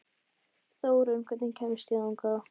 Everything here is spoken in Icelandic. Þórunn, hvernig kemst ég þangað?